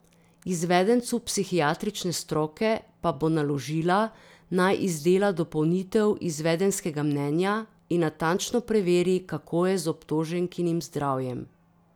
Izvedencu psihiatrične stroke pa bo naložila, naj izdela dopolnitev izvedenskega mnenja in natančno preveri, kako je z obtoženkinim zdravjem.